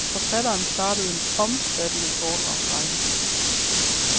Forfatteren startede en omfattende foredragsrække.